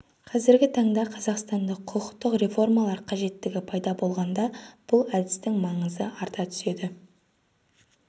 қазіргі таңда қазақстанда құқықтық реформалар қажеттігі пайда болғанда бұл әдістің маңызы арта түседі